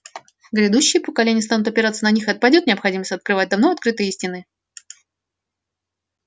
грядущие поколения станут опираться на них и отпадёт необходимость открывать давно открытые истины